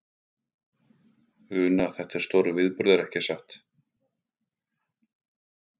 Una, þetta er stórviðburður, ekki satt?